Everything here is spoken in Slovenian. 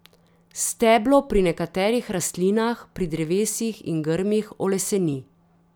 Steblo pri nekaterih rastlinah, pri drevesih in grmih, oleseni.